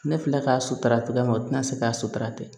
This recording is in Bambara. Ne filɛ k'a sutura cogoya min na u tina se k'a sutura kɛ